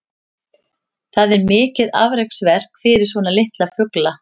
Það er mikið afreksverk fyrir svona litla fugla.